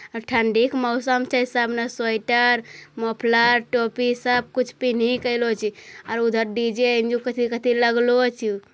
ठंडी के मौसम छे | सब ने स्वेटर मोफलर टोपी सब कुछ पिनहि के आइलो छे और उधर डी.जे. लगालो अछू |